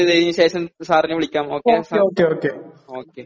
ചർച്ച ചെയ്തതിനു ശേഷം സാറിനെ വിളിക്കാം ഓകെ